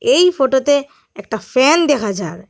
এর ফটোতে একটা ফ্যান দেখা যার।